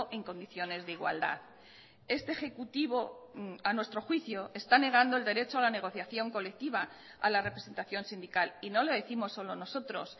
en condiciones de igualdad este ejecutivo a nuestro juicio está negando el derecho a la negociación colectiva a la representación sindical y no lo décimos solo nosotros